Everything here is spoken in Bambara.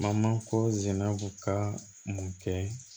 Mamako zina ka mun kɛ